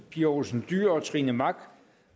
pia olsen dyhr trine mach